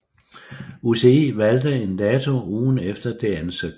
UCI valgte en dato ugen efter det ansøgte